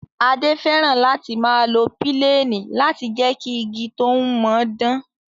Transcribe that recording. Adé fẹ́ràn láti máa lo píléènì láti jẹ́ kí igi tó ń mọ dán